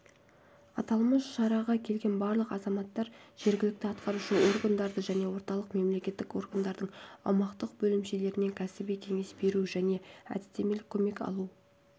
аталмыш шараға келген барлық азаматтар жергілікті атқарушы органдардан және орталық мемлекеттік органдардың аумақтық бөлімшелерінен кәсіби кеңес беру және әдістемелік көмек алу